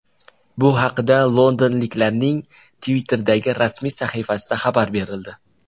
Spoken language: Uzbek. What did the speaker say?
Bu haqda londonliklarning Twitter’dagi rasmiy sahifasida xabar berildi .